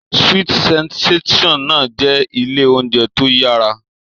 Sweet sensation náà jẹ́ ilé oúnjẹ tó yára